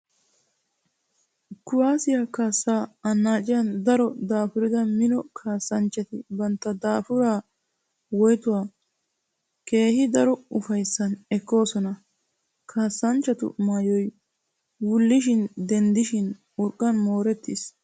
Kuwaasiya kaassaa annaaciyan daro daafurida mino kaassanchchati bantta daafuraa woytuwa keehi daro ufayssan ekkoosona. Kaassanchchatu maayoy wullishin denddishin urqqan moorettiis.